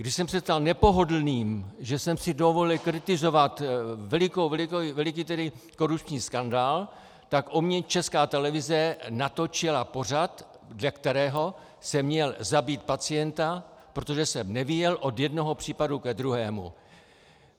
Když jsem se stal nepohodlným, že jsem si dovolil kritizovat veliký korupční skandál, tak o mně Česká televize natočila pořad, dle kterého jsem měl zabít pacienta, protože jsem nevyjel od jednoho případu ke druhému.